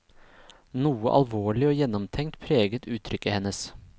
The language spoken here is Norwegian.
Noe alvorlig og gjennomtenkt preget uttrykket hennes.